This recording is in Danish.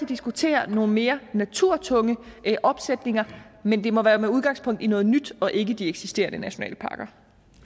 diskutere nogle mere naturtunge opsætninger men det må være med udgangspunkt i noget nyt og ikke i de eksisterende nationalparker